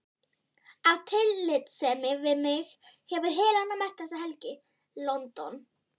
Af tillitssemi við mig hefur Helena merkt þessa helgi: London